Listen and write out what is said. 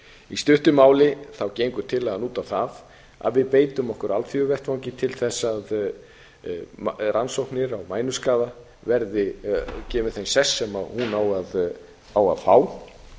í stuttu máli gengur tillagan út á það að við beitum okkur á alþjóðavettvangi til þess að rannsóknir á mænuskaða verði gefinn sá sess sem hún á að fá